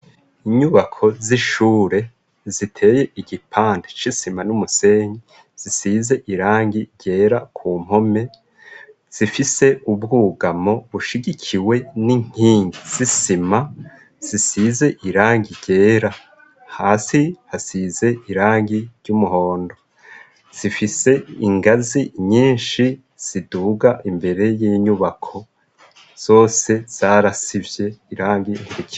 inyubako z'ishure ziteye igipande shisima n'umusenyi zisize irangi ryera ku mpome zifise ubwugamwo bushigikiwe n'inkingi zisima zisize irangi ryera hasi hasize irangi ry'umuhondo zifise ingazi nyinshi ziduga imbere y'inyubako zose zarasivye irangi ntiriboneka